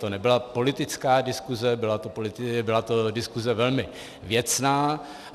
To nebyla politická diskuse, byla to diskuse velmi věcná.